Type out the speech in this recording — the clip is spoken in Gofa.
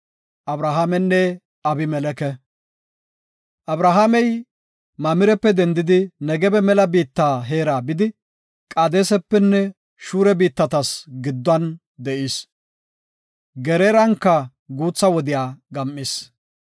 Abrahaamey Mamirepe dendidi Negebe mela biitta heera bidi Qaadesapenne Shura biittatas gidduwan de7is. Geraaranka guutha wode gam7is.